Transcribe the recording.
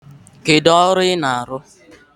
Kedu ọrụ ị na-arụ?